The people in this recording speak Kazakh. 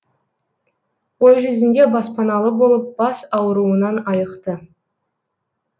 ой жүзінде баспаналы болып бас ауруынан айықты